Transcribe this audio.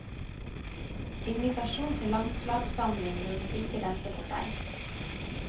Invitasjon til landslagssamling lot ikke vente på seg.